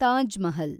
Taj Mahal